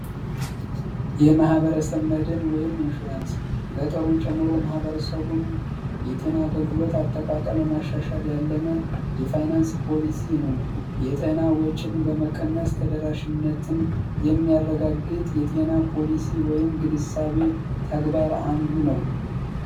የመህበረሰብ መድን ወይም ኢንሹራንስ ገጠሩን ጭምሮ ማህበረሰቡን የጤና ገልግሎት አጠቃቀል በማሻሻ ያለመ የፋይናንስ ፖሊሲ ነው የጤና ወጭን በመቀነስ ተደራሽነትን የሚያረጋግጥ የጤና ፖሊሲ ወይም ግንሳቤ ተግባር አንዱ ነው